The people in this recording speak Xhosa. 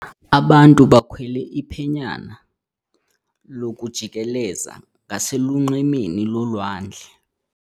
Abantu bakhwele iphenyana lokujikeleza ngaselunxwemeni lolwandle.